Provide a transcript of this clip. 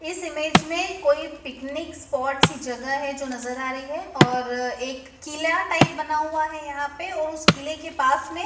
इस इमेज मे कोई पिकनिक स्पॉट्स की जगह है जो नज़र आ रही है और एक किला टाइप बना हुआ है यहां पे और उस किले के पास मे--